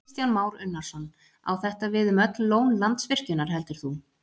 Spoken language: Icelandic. Kristján Már Unnarsson: Á þetta við um öll lón Landsvirkjunar heldur þú?